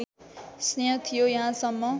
स्नेह थियो यहाँसम्म